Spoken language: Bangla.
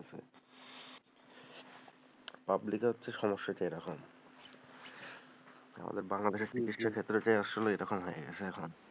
public এ সমস্যাটা এরকম, আমাদের বাংলাদেশের চিকিৎসা ক্ষেত্রটা এরকম হয়ে গেছে এখন,